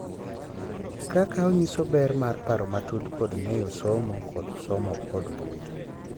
Kaka onyiso ber mar paro matut kod ng’eyo somo kod somo kod mbui.